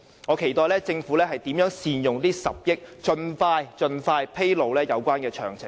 我期待政府將如何善用這10億元，並盡快披露有關詳情。